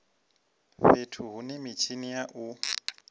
fhethu hune mitshini ya u